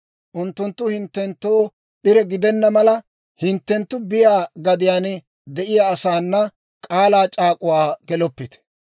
Unttunttu hinttenttoo p'ire gidenna mala, hinttenttu biyaa gadiyaan de'iyaa asaana k'aalaa c'aak'uwaa geloppite.